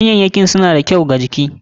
Ganyayyakin suna da kyau wa jiki.